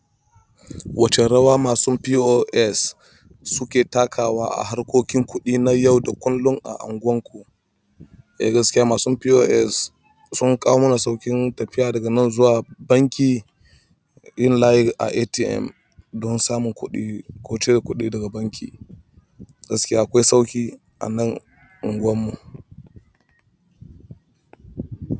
Wacce rawa masun POS suke takawa a harkokin kuɗi na yau da kullum a unguwarku? Eh gaskiya, masun POS sun kawo mana sauƙin tafiya daga nan zuwa banki, yin layi a ATM don samun kuɗi ko cire kuɗi daga banki. Gaskiya akwai sauƙi a nan unguwar mu.